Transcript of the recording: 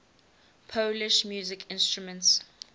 polish musical instruments